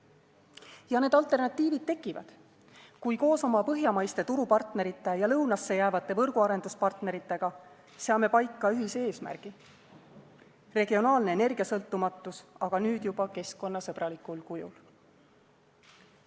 Ja need alternatiivid tekivad, kui koos oma põhjamaiste turupartnerite ja lõunasse jäävate võrguarenduspartneritega seame paika ühise eesmärgi: regionaalne energiasõltumatus, aga nüüd juba keskkonnasõbralikul kujul.